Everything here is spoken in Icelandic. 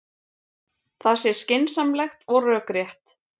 Það sé skynsamlegt og rökrétt